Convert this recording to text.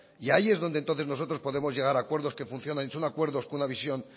y ahí es donde entonces nosotros podemos llegar a acuerdos que funcionen y son acuerdos con una visión